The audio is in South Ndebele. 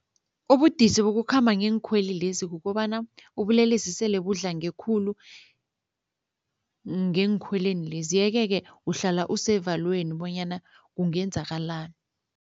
Ubudisi bokukhamba ngeenkhweli lezi kukobana ubulelesi sele budlange khulu ngeenkhweleni lezi, yeke-ke uhlala usevalweni bonyana kungenzekalani.